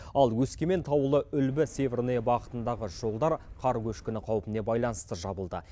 ал өскемен таулыүлбі северная бағытындағы жолдар қар көшкіні қаупіне байланысты жабылды